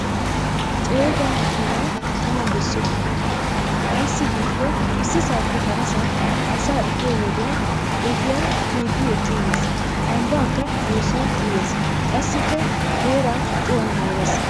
Ceega makiinaa tana bessoppa! Ayssi giikko issisaappe harasaa asaa efiyo wodiyan ogiyan biiddi eqqiiges lambbakka eesuwan uyees qassikka heeraa cuwan moores.